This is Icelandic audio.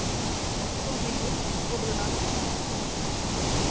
Hún var komin út af Óla.